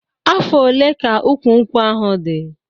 Afọ ole ka ụkwụ nkwụ ahụ dị?